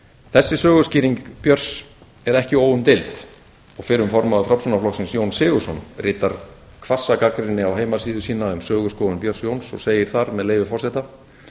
þessi söguskýring björns er ekki óumdeild og fyrrum formaður framsóknarflokksins jón sigurðsson ritar hvassa gagnrýni á heimasíðu sína um söguskoðun björns jóns og segir þar með leyfi forseta